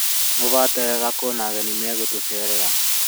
Mũhate wega kwĩna ageni magũtũcerera